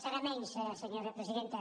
serà menys senyora presidenta